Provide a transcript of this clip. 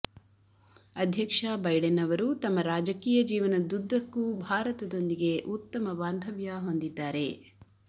ಅಧ್ಯಕ್ಷ ಬೈಡೆನ್ ಅವರು ತಮ್ಮ ರಾಜಕೀಯ ಜೀವನದುದ್ದದಕ್ಕೂ ಭಾರತದೊಂದಿಗೆ ಉತ್ತಮ ಬಾಂದವ್ಯ ಹೊಂದಿದ್ದಾರೆ